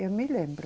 Eu me lembro.